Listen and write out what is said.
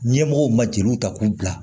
Ɲɛmɔgɔw ma jeliw ta k'u bila